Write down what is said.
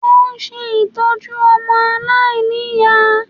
Wọ́n ń ṣe ìtọ́jú ọmọ aláìníyàá